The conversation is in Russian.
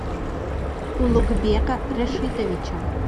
улугбека рашитовича